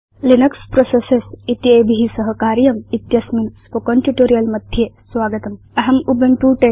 Linux processes इत्येभि सह कार्यम् इत्यस्मिन् स्पोकेन ट्यूटोरियल् मध्ये स्वागतम् अहं उबुन्तु 1004